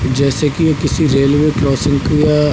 जैसे कि किसी रेलवे क्रॉसिंग की या --